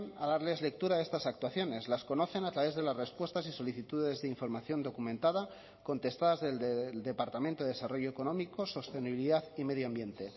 a darles lectura de estas actuaciones las conocen a través de las respuestas y solicitudes de información documentada contestadas desde el departamento de desarrollo económico sostenibilidad y medio ambiente